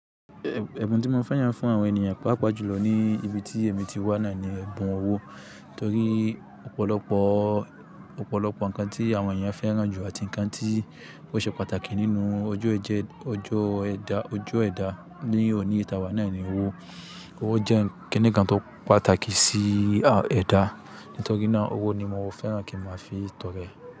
Ẹ̀bùn tí mo fee yàn fún àwọn ènìyàn pàápàá jùlọ ní ibi tí èmi ti wà naa ní ẹbùn owó. Nítorí ọ̀pọ̀lọpọ̀, ọ̀pọ̀lọpọ̀ ǹkan tí àwọn èèyàn fẹ́ràn jù àti ǹkan tí ó ṣe pàtàkì nínú ọjọ́ ẹ̀ jẹ ọjọ́ ẹ̀dá, ojú ẹ̀dá ní òní yii ta wa naa ní owó. Owó jẹ́ kinikan to pàtàkì sí ẹ̀dá. Nítorí náà owó ni mo fẹ́ràn kí n màá fi tọrẹ.